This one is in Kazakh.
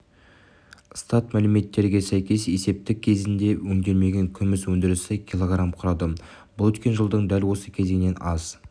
статмәліметтерге сәйкес есептік кезеңде өңделмеген күміс өндірісі кг құрады бұл өткен жылдың дәл осы кезеңінен аз